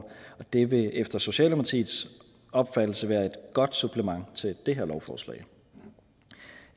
det vil efter socialdemokratiets opfattelse være et godt supplement til det her lovforslag